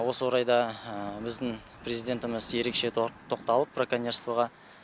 осы орайда біздің президентіміз ерекше тоқталып браконьерствоға